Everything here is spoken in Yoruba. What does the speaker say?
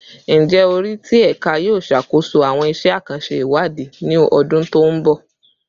Njẹ ori ti Ẹka yoo ṣakoso awọn iṣẹ akanṣe iwadi ni ọdun to nbọ?